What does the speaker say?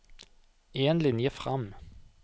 En linje fram